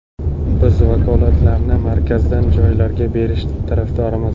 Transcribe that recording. Biz vakolatlarni markazdan joylarga berish tarafdorimiz.